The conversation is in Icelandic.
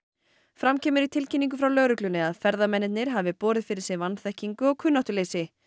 fram kemur í tilkynningu frá lögreglunni að ferðamennirnir hafi borið fyrir sig vanþekkingu og kunnáttuleysi